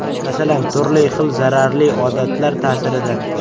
Masalan, turli xil zararli odatlar ta’sirida.